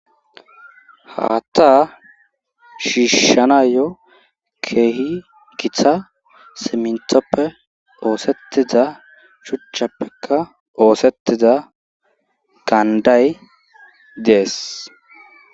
Haatta shiishshanayo keehi kitha simntoppe oosettida shuchchappeka oosettida gaanday dees.